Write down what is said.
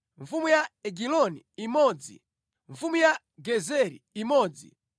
mfumu ya Egiloni imodzi mfumu ya Gezeri imodzi